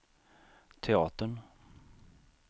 teatern